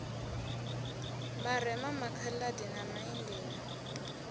vharema makha ḽadi na maindia